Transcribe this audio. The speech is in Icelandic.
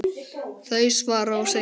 þau svara og segja